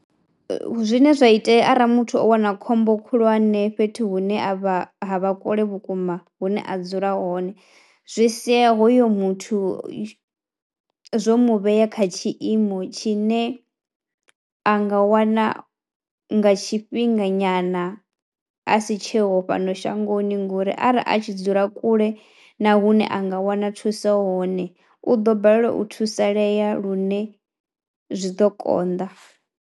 Zwine zwa itea arali muthu o wana khombo khulwane fhethu hune a vha ha vha kule vhukuma hune a dzula hone zwi sia hoyo muthu zwo mu vhea kha tshiimo tshine a nga wana nga tshifhinga nyana a si tsheho fhano shangoni ngori arali a tshi dzula kule na hune a nga wana thuso hone u ḓo balelwa u thusalea lune zwi ḓo konḓa.